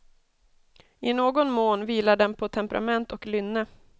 I någon mån vilar den på temperament och lynne.